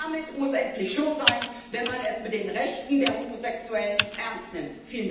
Damit muss endlich Schluss sein, wenn man es mit den Rechten der Homosexuellen ernst meint!